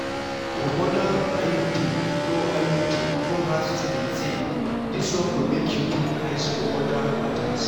because iud no iud no hard to maintain this one go make you put eyes for other matters.